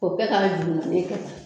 O kɛ ka juru filen kɛ tan.